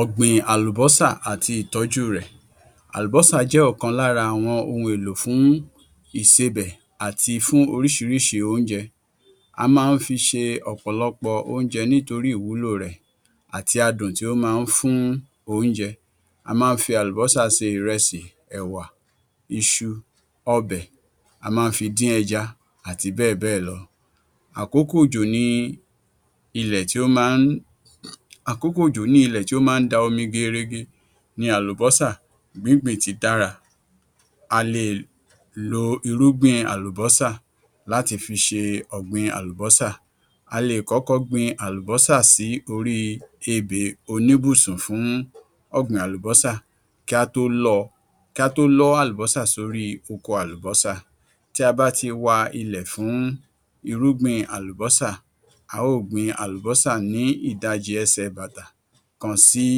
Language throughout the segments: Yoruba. ọ̀gbin àlùbósà àti ìtójú rẹ̀ Àlùbósà jẹ́ ọ̀kan lára àwọn ohun èló fún ìsebè àti fún oríṣirísi oúnjẹ a ma ń fi ṣe ọ̀pọ̀lọpọ̀ oúnjẹ nítorí ìwúlo rẹ̀, àti adùn tí ó ma ń fún oúnjẹ, a ma ń fi àlùbósà se ìrẹsì, ẹ̀wà, iṣu, ọbẹ̀, a ma ń fi dín ẹja àti bẹ́ẹ̀ bẹ́ẹ̀ lọ. Àkókò òjò ni àkókò òjò ni ilẹ̀ tí ó ma ń da omi gerege, ní àlùbósà gbíngbìn ti dára, a lè lo irúgbìn àlùbósà láti fi ṣe ọ̀gbìn àlùbósà, a lè kọ́kọ́ gbìn àlùbósà sí orí ebè oníbùsùn fún ọ̀gbìn àlùbósà, kí a tó lọ́ ọ kí a tó lọ àlùbósà sí orí oko àlùbósà, tí a bá ti wa ilẹ̀ fún irúgbìn àlùbósà, a óò gbin àlùbósà ni ìdajì ẹsẹ̀ bàtà kan sí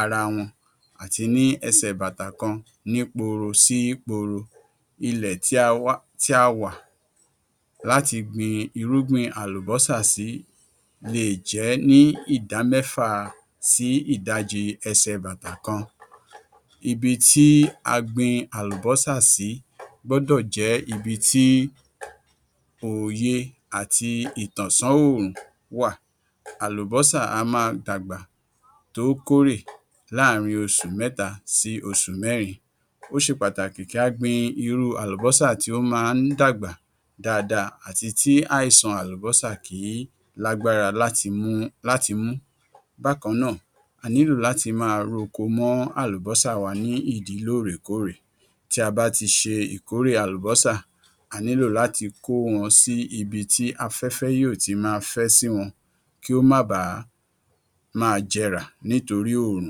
ara wọn àti ní ẹsẹ̀ bàtà kan ní poro sí poro. Ilẹ̀ tí a wà látì gbìn irúgbìn àlùbósà sì lè jẹ́ ní ìdá mẹ́fà sí ìdàjì ẹsẹ̀ batà kan, ibì tí a gbìn àlùbósà sì gbọ́dọ̀ jẹ́ ibi tí òye àti ìtànsọ́ òòrùn wà, àlùbósà á máa dàgbà tó kórè láàrín oṣù mẹ́ta sí oṣù mẹ́rin ó ṣe pàtàkì kí a gbin irú àlùbósà tí ó ma ń dàgbà dáadáa àti tí àìsàn àlùbósà kìí lágbára láti mú. Bákan náà, a nílò láti máa ro oko mọ́ ìdi àlùbósà wa ní ìdí lóòrèkóòrè, tí a bá ti ṣe ìkórè àlùbósà a nílò láti máa kó wọn sí ibi tí afẹ́fẹ́ yóò ti máa fẹ́ sí wọ́n kí ó má bà máa jẹrà nítorí òòrùn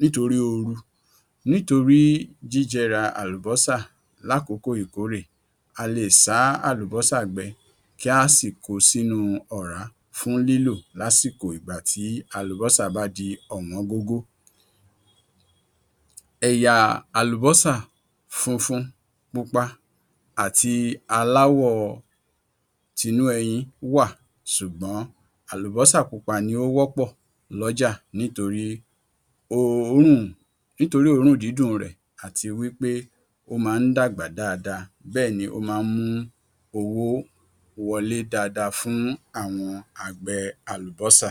nítorí oru, nítorí jíjẹrà àlùbósà lákòókò ìkórè, a lè sá àlùbósà gbẹ kí a sì kó o sínu ọ̀rá fún lílo lásìkò ìgbà tí àlùbósà bá di àsìkò ọ̀wọ́n gógó. ẹ̀yà àlùbósà funfun, púpa àti aláwọ̀ tinú ẹ̀yìn wa ṣùgbọ́n àlùbósà pupa ni ó wọ́pọ̀ lọ́jà nítorí òòrùn nítorí òórùn dindùn rẹ̀ àti wípé ó ma ń dàgbà dáadáa bẹ́ẹ̀ni ó ma ń mú owó wọlé dáadáa fún àwọn àgbẹ̀ àlùbósà.